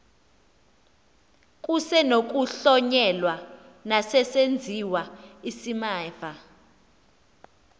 kusenokuhlonyelwa nesesenziwa isimamva